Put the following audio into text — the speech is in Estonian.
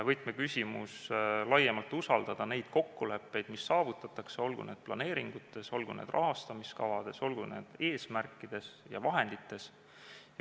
Võtmeküsimus on laiemalt usaldada neid kokkuleppeid, mis saavutatakse, olgu need planeeringud, olgu need rahastamiskavad, olgu need eesmärgid ja vahendid.